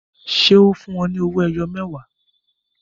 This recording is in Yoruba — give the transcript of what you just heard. Ṣé ó fún wọn ní owó ẹyọ mẹwa?